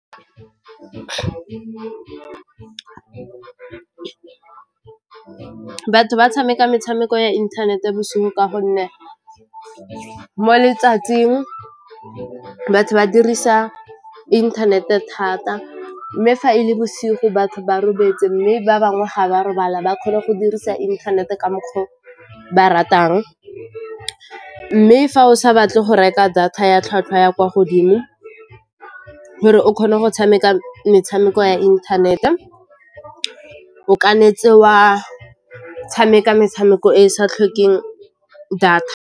Batho ba tshameka metshameko ya inthanete bosigo ka gonne mo letsatsing batho ba dirisa inthanete thata mme fa e le bosigo batho ba robetse mme ba bangwe ga ba robala ba kgone go dirisa inthanete ka mokgwa o ba ratang, mme fa o sa batle go reka data ya tlhwatlhwa ya kwa gore o kgone go tshameka metshameko ya inthanete, o ka netse wa tshameka metshameko e e sa tlhokeng data.